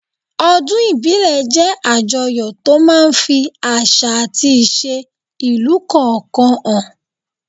Ọdún ìbílẹ̀ jẹ́ àjọyọ̀ tó máa ń ń fi àṣà àti ìṣe ìlú kọ̀ọ̀kan hàn